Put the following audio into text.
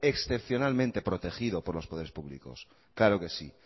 excepcionalmente protegido por los poderes públicos claro que sí